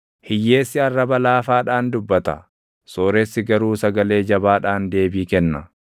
Hiyyeessi arraba laafaadhaan dubbata; sooressi garuu sagalee jabaadhaan deebii kenna.